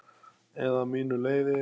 Eða mínu leyfi.